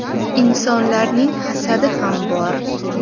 Insonlarning hasadi ham bor.